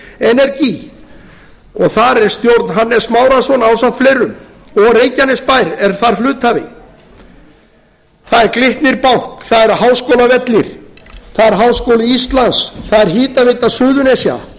green energy og þar er í stjórn hannes smárason ásamt fleirum og reykjanesbær er þar hluthafi það er glitnir bank það eru háskólavellir það er háskóli íslands það er hitaveita suðurnesja